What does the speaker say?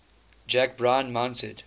jack bryan mounted